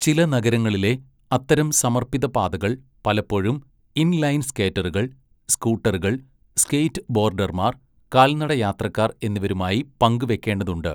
ചില നഗരങ്ങളിലെ അത്തരം സമർപ്പിത പാതകൾ പലപ്പോഴും ഇൻ ലൈൻ സ്കേറ്ററുകൾ, സ്കൂട്ടറുകൾ, സ്കേറ്റ്ബോഡർമാർ, കാൽനട യാത്രക്കാർ എന്നിവരുമായി പങ്കുവയ്ക്കേണ്ടതുണ്ട്.